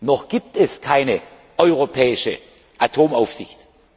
Noch gibt es keine europäische Atomaufsicht.